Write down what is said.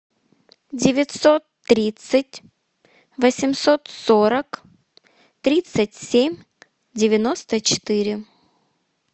девятьсот тридцать восемьсот сорок тридцать семь девяносто четыре